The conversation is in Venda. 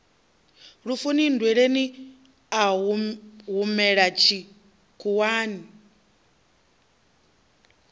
lufuni nndweleni a humela tshikhuwani